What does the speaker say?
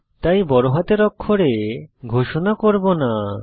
তাই বড়হাতের অক্ষরে ঘোষণা করব না